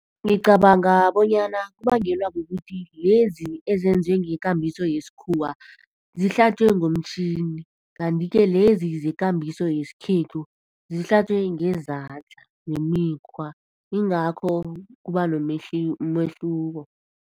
Ngicabanga bonyana kubangelwa kukuthi lezi ezenzwe ngekambiso yesikhuwa zihlatjwe ngomtjhini kanti-ke lezi zekambiso yesikhethu zihlatjwe ngezandla nemikhwa, yingakho kuba nomehluko.